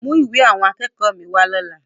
Mú ìwé àwọn akẹ́kọ̀ọ́ mi wá lọ́la!